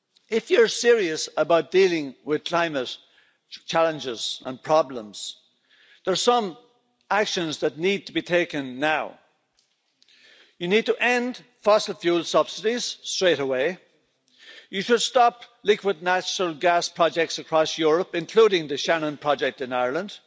If you're serious about dealing with climate challenges and problems, there are some actions that need to be taken now you need to end fossil fuel subsidies straight away you should stop liquid natural gas projects across Europe, including the Shannon project in Ireland